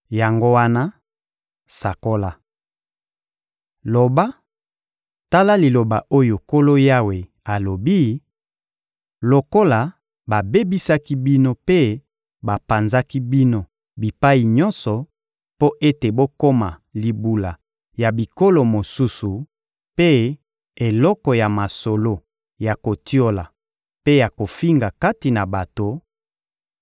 Yango wana, sakola! Loba: ‹Tala liloba oyo Nkolo Yawe alobi: Lokola babebisaki bino mpe bapanzaki bino bipai nyonso mpo ete bokoma libula ya bikolo mosusu mpe eloko ya masolo ya kotiola mpe ya kofinga kati na bato;